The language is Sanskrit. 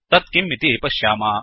तत् किम् इति पश्याम